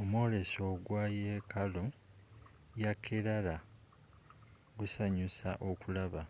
omwoleso ogwa yekaalu ya kerala gusanyusa okulaba